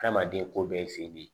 Adamaden ko bɛɛ ye fin